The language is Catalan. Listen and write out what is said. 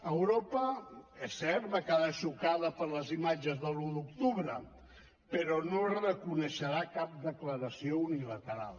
europa és cert va quedar xocada per les imatges de l’un d’octubre però no reconeixerà cap declaració unilateral